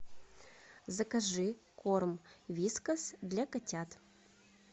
закажи корм вискас для котят